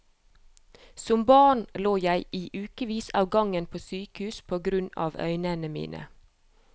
Som barn lå jeg i ukevis av gangen på sykehus på grunn av øynene mine.